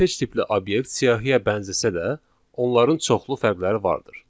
Kortej tipli obyekt siyahıya bənzəsə də, onların çoxlu fərqləri vardır.